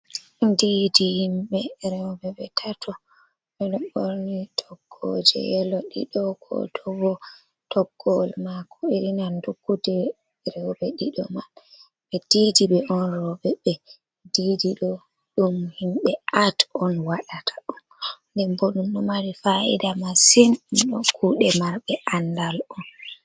Diidi himɓe rooɓe ɓe tato oɗo borni tokkoje yelo, ɗiɗo to bo toggowol mako yiɗi nandugo jei rooɓe ɗiɗo maɓɓe be didi ɓe on, roɓe be diidi ɗo ɗum himɓe at on waɗata on nde bo ɗum no mari fa’ida masin, dum kuɗe marɓe aandal on.